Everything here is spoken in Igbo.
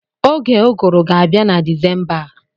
Oge Ụgụrụ ga-abịa na Disemba a.